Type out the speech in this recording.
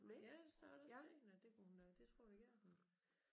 Ja det sagde da jeg også til hende at det kunne hun øh det tror jeg gerne hun